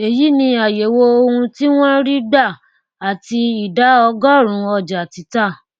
èyí ni àyèwò ohun tí wọn ń rí gbà àti ìdá ọgọrùnún ọjà títà